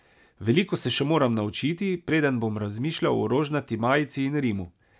Veliko se še moram naučiti, preden bom razmišljal o rožnati majici in Rimu.